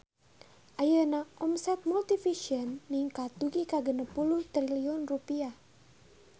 Ayeuna omset Multivision ningkat dugi ka 60 triliun rupiah